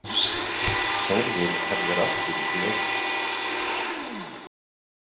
Þórður hellir aftur í glösin.